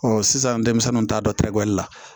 sisan denmisɛnninw t'a dɔn terekuli la